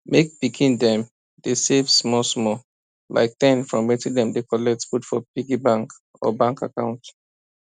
make pikin dem dey save smallsmall like ten from wetin dem dey collect put for piggy bank or bank account